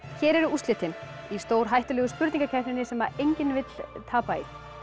hér eru úrslitin í stórhættulegu spurningakeppninni sem enginn vill tapa í